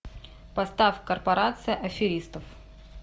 поставь корпорация аферистов